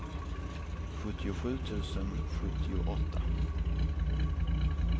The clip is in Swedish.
sjuttiosju tusen sjuttioåtta